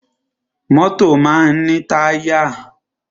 Mọ́tọ̀ máa ń ní táyà.